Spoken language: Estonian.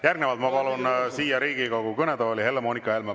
Järgnevalt ma palun siia Riigikogu kõnetooli Helle-Moonika Helme.